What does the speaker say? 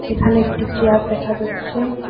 এখানে একটি চেয়ার দেখা যাচ্ছে।